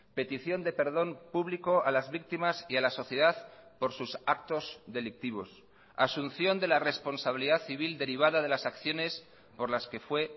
petición de perdón público a las víctimas y a la sociedad por sus actos delictivos asunción de la responsabilidad civil derivada de las acciones por las que fue